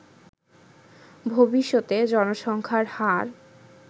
ভবিষ্যতে জনসংখ্যার হার